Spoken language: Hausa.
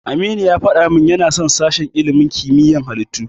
Aminu ya faɗa min yana son sashen ilimin kimiyya na halittu.